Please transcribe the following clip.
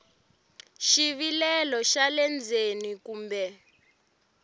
xivilelo xa le ndzeni kumbe